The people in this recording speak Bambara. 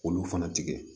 K'olu fana tigɛ